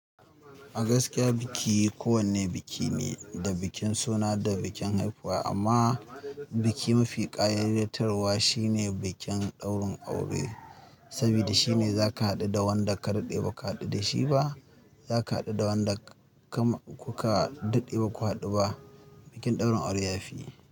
A gaskiya biki kowane biki ne, da bikin suna da bikin haifuwa amma biki mafi ƙayatarwa shi ne bikin ɗaurin aure. Saboda shi ne zaka haɗu da wanda ka daɗe baka haɗu da shi ba, zaka haɗu da wanda kam kuka daɗe baku haɗu ba. Bikin ɗaurin aure yafi.